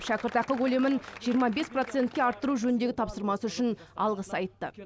шәкіртақы көлемін жиырма бес процентке арттыру жөніндегі тапсырмасы үшін алғыс айтты